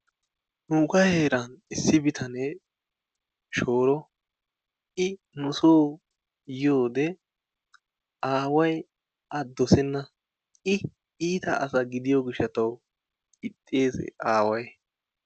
Nuugaa heeran issi bitanee shooro, I nusoo yiyode aaway A doosenna. I iita asa gidiyo gishshataw ixxees aaway.